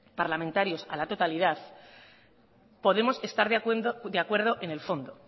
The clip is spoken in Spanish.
parlamentario a la totalidad podemos estar de acuerdo en el fondo